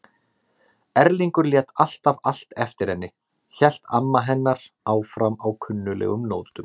Erlingur lét alltaf allt eftir henni- hélt amma hennar áfram á kunnuglegum nótum.